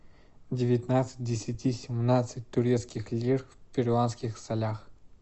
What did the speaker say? девятнадцать десяти семнадцать турецких лир в перуанских солях